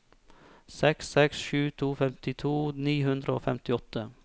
seks seks sju to femtito ni hundre og femtiåtte